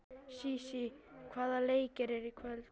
Sísí, hvaða leikir eru í kvöld?